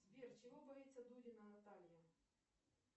сбер чего боится дудина наталья